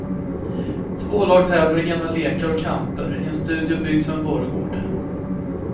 Två lag tävlar i gamla lekar och kamper i en studio byggd som en borggård.